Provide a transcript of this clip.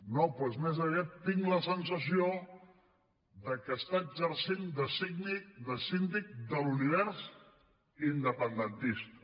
no doncs més aviat tinc la sensació que està exercint de síndic de l’univers independentista